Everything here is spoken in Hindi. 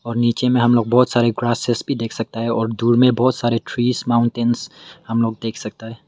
और नीचे में हम लोग बहोत सारी ग्रासेस भी देख सकता है और दूर में बहोत सारे ट्रीज माउंटेंस हम लोग देख सकता है।